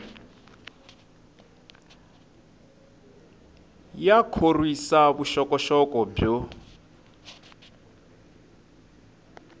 ya khorwisa vuxokoxoko byo